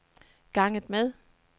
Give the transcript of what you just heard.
ganget med